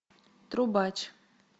трубач